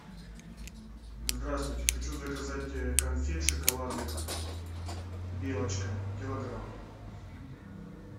здравствуйте хочу заказать конфет шоколадных белочка килограмм